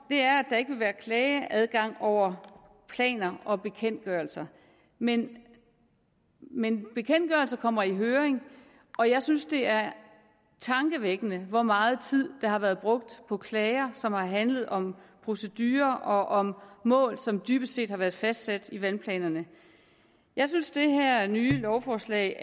er at der ikke vil være klageadgang over planer og bekendtgørelser men men bekendtgørelserne kommer i høring og jeg synes det er tankevækkende hvor meget tid der har været brugt på klager som har handlet om procedurer og om mål som dybest set har været fastsat i vandplanerne jeg synes det her nye lovforslag